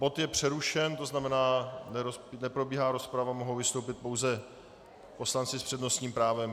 Bod je přerušen, to znamená, neprobíhá rozprava, mohou vystoupit pouze poslanci s přednostním právem.